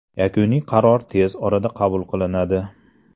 Yakuniy qaror tez orada qabul qilinadi.